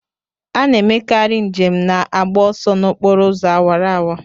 A na-emekarị njem na-agba ọsọ n'okporo ụzọ awara awara.